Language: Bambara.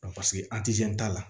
paseke an ti se t'a la